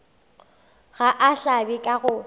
ga a hlabe ka go